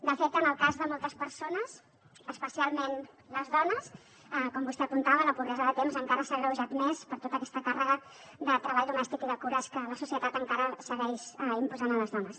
de fet en el cas de moltes persones especialment les dones com vostè apuntava la pobresa de temps encara s’ha agreujat més per tota aquesta càrrega de treball domèstic i de cures que la societat encara segueix imposant a les dones